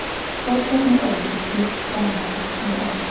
Forkeppni ÓL flutt framar á árið